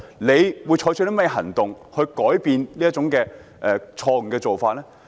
政府會採取甚麼行動來改變這種錯誤做法？